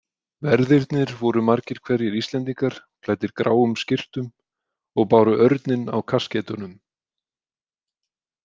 Verðirnir voru margir hverjir Íslendingar, klæddir gráum skyrtum og báru örninn á kaskeitunum.